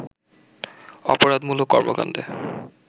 অপরাধমূলক কর্মকাণ্ডে